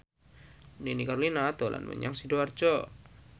Nini Carlina dolan menyang Sidoarjo